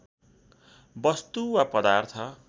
वस्तु वा पदार्थ